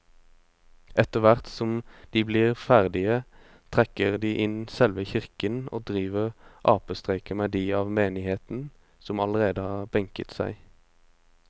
Etterthvert som de blir ferdige trekker de inn i selve kirken og driver apestreker med de av menigheten som allerede har benket seg.